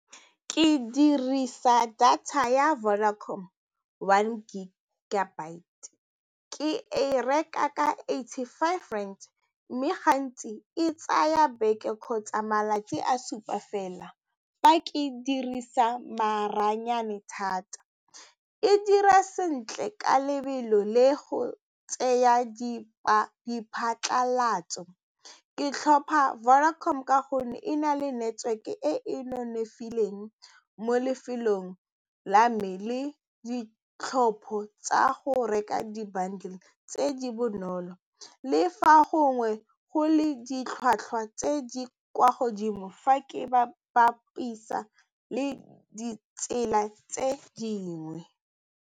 Ke dirisa data ya Vodacom one gig ke e reka ka eighty-five rand mme gantsi e tsaya beke kgotsa malatsi a supa fela fa ke ka dirisa maranyane thata e dira sentle ka lebelo le go tseya diphatlalatso. Ke tlhopha Vodacom ka gonne e na le network-e e e nonofileng mo lefelong la me le ditlhopho tsa go reka di-bindles tse di bonolo le fa gongwe go le ditlhwatlhwa tse di kwa godimo fa ke bapisa le ditsela tse dingwe.